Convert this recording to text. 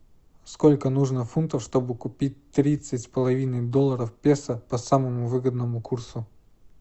сколько нужно фунтов чтобы купить тридцать с половиной долларов песо по самому выгодному курсу